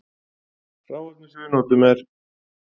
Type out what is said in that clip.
Hráefnið sem við notum er